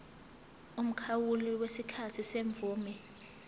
umkhawulo wesikhathi semvume